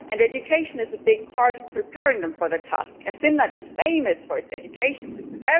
And education is a big part of preparing them for the task, and Finland is famous for its education system.